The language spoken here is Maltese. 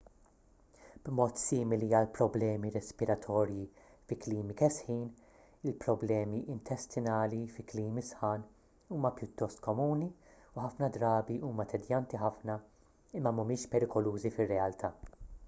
b'mod simili għall-problemi respiratorji fi klimi kesħin il-problemi intestinali fi klimi sħan huma pjuttost komuni u ħafna drabi huma tedjanti ħafna imma mhumiex perikolużi fir-realtà